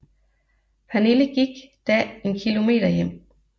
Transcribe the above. Pernille gik da en kilometer hjem